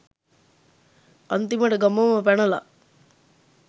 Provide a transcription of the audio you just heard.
අන්තිමට ගමම පැනලා